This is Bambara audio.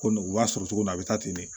Ko u b'a sɔrɔ cogo min na a bɛ taa ten de